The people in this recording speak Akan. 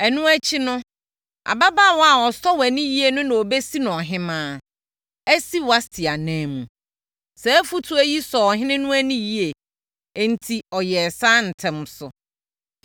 Ɛno akyi no, ababaawa a ɔsɔ wʼani yie no na wɔbɛsi no ɔhemmaa, asi Wasti ananmu.” Saa afotuo yi sɔɔ ɔhene no ani yie, enti ɔyɛɛ saa ntɛm so.